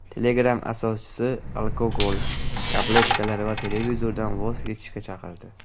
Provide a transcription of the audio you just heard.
Telegram asoschisi alkogol, tabletkalar va televizordan voz kechishga chaqirdi.